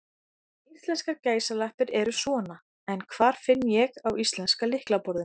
Íslenskar gæsalappir eru svona, en hvar finn ég á íslenska lyklaborðinu?